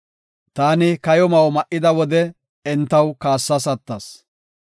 Taani kayo ma7o ma7ida wode, entaw kaassas attas.